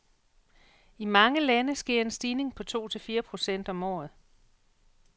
I mange lande sker en stigning på to til fire procent om året.